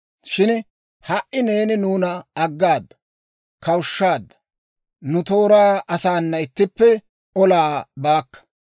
Shin ha"i neeni nuuna aggaada; kawushshaadda; nu tooraa asaana ittippe olaa baakka.